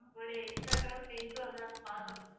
உங்களுடைய இன்ஸ்டாகிராம் நாங்க பாத்திருக்கோம்